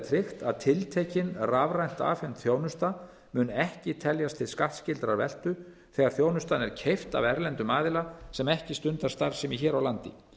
tryggt að tiltekin rafrænt afhent þjónusta mun ekki teljast til skattskyldrar veltu þegar þjónustan er keypt af erlendum aðila sem ekki stundar starfsemi hér á landi